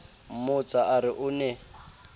mmotsa a re o ne